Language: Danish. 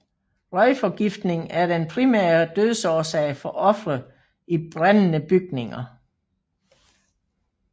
Røgforgiftning er den primære dødsårsag for ofre i brændende bygninger